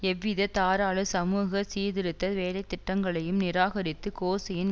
எவ்வித தாராள சமூக சீர்திருத்த வேலைத்திட்டங்களையும் நிராகரித்து கோசியின்